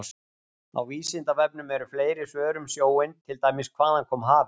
Á Vísindavefnum eru fleiri svör um sjóinn, til dæmis: Hvaðan kom hafið?